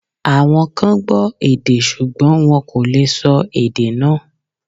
Àwọn kan gbọ́ èdè ṣùgbọ́n wọn kò lè sọ èdè náà